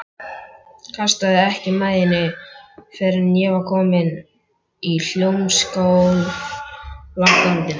Kastaði ekki mæðinni fyrr en ég var kominn í Hljómskálagarðinn.